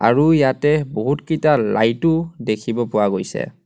আৰু ইয়াতে বহুতকিটা লাইট ও দেখিব পোৱা গৈছে.